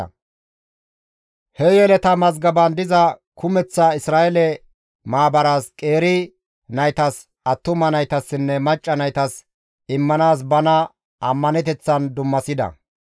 Ha yeleta mazgaban diza kumeththa Isra7eele maabaras qeeri naytas, attuma naytassinne macca naytas immanaas bana ammaneteththan dummasida.